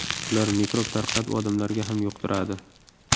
Ular mikrob tarqatib, odamlarga ham yuqtiradi.